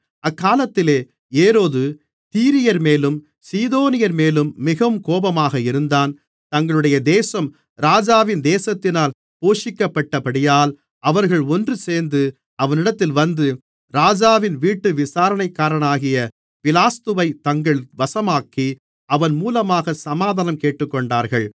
அக்காலத்திலே ஏரோது தீரியர்மேலும் சீதோனியர்மேலும் மிகவும் கோபமாக இருந்தான் தங்களுடைய தேசம் ராஜாவின் தேசத்தினால் போஷிக்கப்பட்டபடியால் அவர்கள் ஒன்றுசேர்ந்து அவனிடத்தில் வந்து ராஜாவின் வீட்டு விசாரணைக்காரனாகிய பிலாஸ்துவைத் தங்கள் வசமாக்கி அவன் மூலமாக சமாதானம் கேட்டுக்கொண்டார்கள்